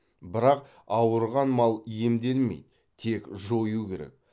бірақ ауырған мал емделмейді тек жою керек